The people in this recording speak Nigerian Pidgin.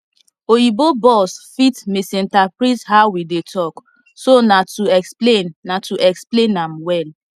oyibo boss fit misinterpret how we dey talk so na to explain na to explain am well